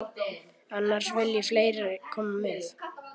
Annars vilja fleiri koma með.